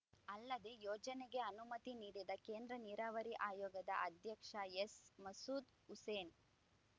ಅಲ್ಲದೆ ಯೋಜನೆಗೆ ಅನುಮತಿ ನೀಡಿದ ಕೇಂದ್ರ ನೀರಾವರಿ ಆಯೋಗದ ಅಧ್ಯಕ್ಷ ಎಸ್‌ ಮಸೂದ್‌ ಹುಸೇನ್‌